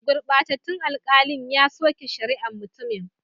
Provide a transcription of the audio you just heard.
Gurbatattun alkalin ya soke shari'an mutumin.